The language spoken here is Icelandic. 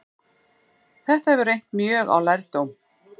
þetta hefur reynt mjög á lærdóm